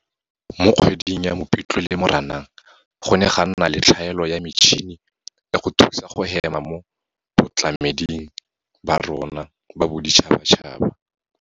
Mo kgweding ya Mopitlwe le Moranang, go ne ga nna le tlhaelo ya metšhini ya go thusa go hema mo batlameding ba rona ba boditšhabatšhaba.